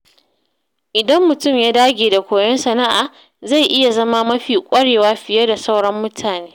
Idan mutum ya dage da koyon sana’a, zai iya zama mafi ƙwarewa fiye da sauran mutane.